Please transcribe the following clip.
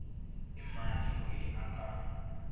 i mani loyi a nga